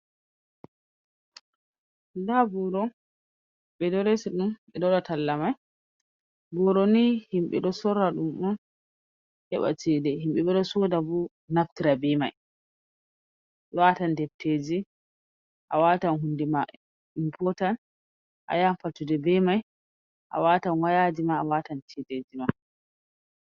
Nda boro ɓe ɗo resi ɗum ɓe ɗo waɗa talla mai, boroni himɓe ɗo sora ɗum on heɓa ceda, himɓe bo ɗo soda bo naftira be mai, watan defteji, a watan hunde ma impotan , a yahan fattude be mai, a watan wayajima, a watan cedeji ma.